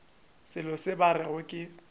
selo se ba rego ke